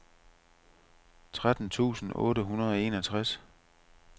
tretten tusind otte hundrede og enogtres